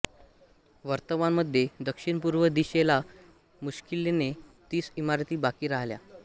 वर्तमान मध्ये दक्षिणपूर्वी दिशे ला मुश्किलीने तीस इमारती बाकी राहिल्या